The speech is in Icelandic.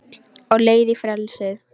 Á leið í frelsið